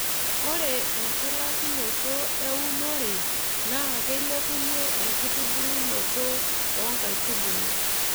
ore enchulakinoto eunore naa keilepunye enkitubulunoto oo nkaitubulu.